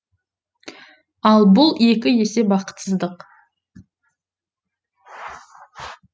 ал бұл екі есе бақытсыздық